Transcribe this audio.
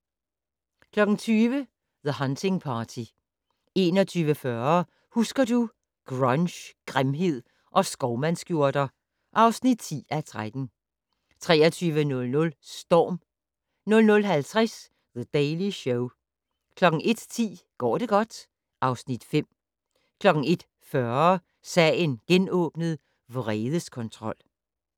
20:00: The Hunting Party 21:40: Husker du - Grunge, grimhed og skovmandsskjorter (10:13) 23:00: Storm 00:50: The Daily Show 01:10: Går det godt? (Afs. 5) 01:40: Sagen genåbnet: Vredeskontrol